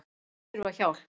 Þau þurfa hjálp